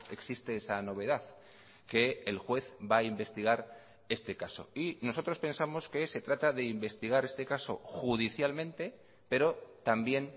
existe esa novedad que el juez va a investigar este caso y nosotros pensamos que se trata de investigar este caso judicialmente pero también